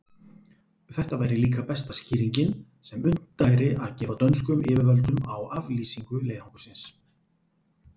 Þetta væri líka besta skýringin, sem unnt væri að gefa dönskum yfirvöldum á aflýsingu leiðangursins.